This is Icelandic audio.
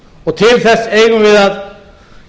og til þess eigum við að